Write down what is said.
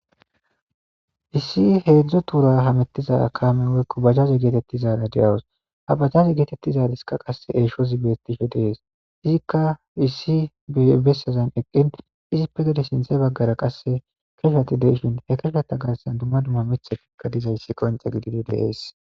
issi heedzdzo tuura hamettiza kamen weykko bajaze geetettizaara de7awus ha bajaze geetettizaaliskka qasse eesho zibettisho dees izikka issi ebessazan eqqin izi pegede sinthe baggara qasse keshuati deishin he keshuata gaassan dumma dumma mithe pigka dizayssi qonce gididi deees